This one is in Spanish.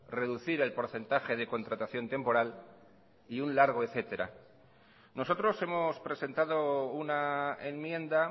reducir el porcentaje de contratación temporal y un largo etcétera nosotros hemos presentado una enmienda